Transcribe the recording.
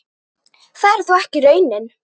Það er þó ekki raunin.